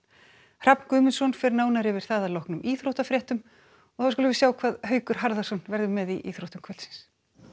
Hrafn Guðmundsson fer nánar yfir það að loknum íþróttafréttum og þá skulum við sjá hvað Haukur Harðarson verður með í íþróttum kvöldsins